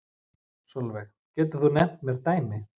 Sólveig: Getur þú nefnt mér dæmi?